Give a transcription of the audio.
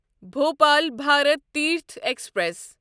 Bhopal Bharat Tirth express